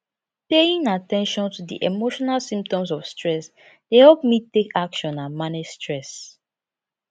paying at ten tion to di emotional symptoms of stress dey help me take action and manage stress